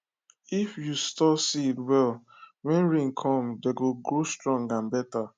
if you store seed well when rain come dem go grow strong and better